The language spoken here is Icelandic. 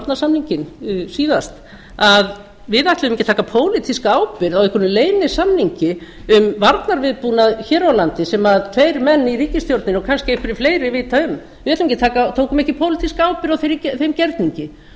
varnarsamninginn síðast að við ætluðum ekki að taka pólitíska ábyrgð á einhverjum leynisamningi um varnarviðbúnað hér á landi sem tveir menn í ríkisstjórninni og kannski einhverjir fleiri vita um við tókum ekki pólitíska ábyrgð á þeim gerningi og